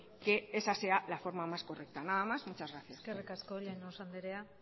que esa sea la forma más correcta nada más muchas gracias eskerrik asko llanos andrea